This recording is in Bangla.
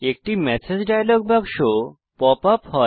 একটি ম্যাসেজ ডায়লগ বাক্স পপ আপ হয়